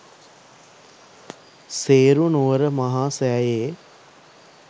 සේරු නුවර මහා සෑයේ